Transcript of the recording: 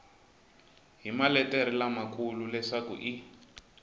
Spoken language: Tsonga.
hi maletere lamakulu leswaku i